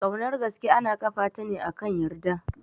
Kaunar gaske ana ƙafa ta ne akan yarda